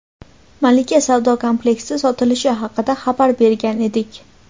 "Malika" savdo kompleksi sotilishi haqida xabar bergan edik.